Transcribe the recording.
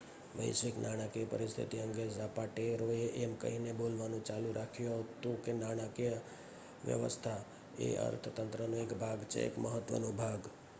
"વૈશ્વિક નાણાકીય પરીસ્થિતિ અંગે ઝાપાટેરોએ એમ કહીને બોલવાનું ચાલુ રાખ્યું હતું કે નાણાકીય વ્યવસ્થા એ અર્થતંત્રનો એક ભાગ છે એક મહત્વનો ભાગ.